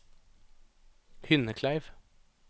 Hynnekleiv